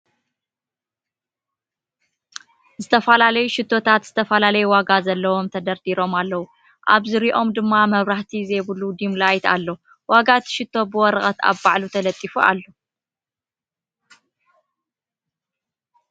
ዝተፈላለዩ ሽቶታት ዝተፈላለየ ዋጋ ዘሎውም ተደርዲሮም ኣለዉ ኣብ ዝርይኦም ድም መብራህቲ ዘይብሉ ዲም ላይት ኣሎ ። ዋጋ እቲ ሽቶ ብ ወረቀት ኣብ ባዕሉ ተለጢፉ ኣሎ ።